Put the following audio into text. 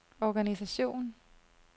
organisation